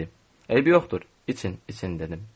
Dedi: Eybi yoxdur, için, için, dedim.